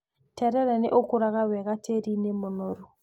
Terere nĩ ũkũraga wega tĩĩri-inĩ mũnoru.